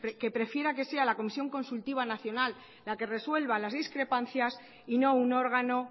que prefiera que sea la comisión consultiva nacional la que resuelva las discrepancias y no un órgano